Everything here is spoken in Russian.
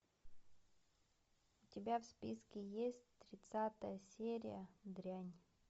у тебя в списке есть тридцатая серия дрянь